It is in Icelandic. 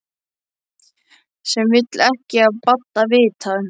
Sem vill ekki af Badda vita.